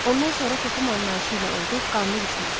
Ondan sonra toxum anlayışı ilə oldu qanlı düşmən.